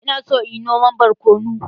Ina so inyi noman borkonu.